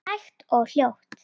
Hægt og hljótt?